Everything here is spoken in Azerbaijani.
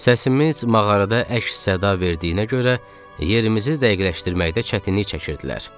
Səsimiz mağarada əks-səda verdiyinə görə yerimizi dəqiqləşdirməkdə çətinlik çəkirdilər.